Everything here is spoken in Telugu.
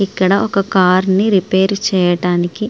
ఇక్కడ ఒక కారుని రిపేరు చేయటానికి --